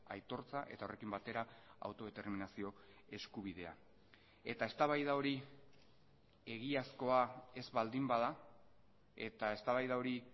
aitortza eta horrekin batera autodeterminazio eskubidea eta eztabaida hori egiazkoa ez baldin bada eta eztabaida hori